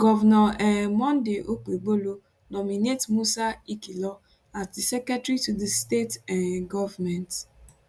govnor um monday okpebholo nominate musa ikhilor as di secretary to di state um goment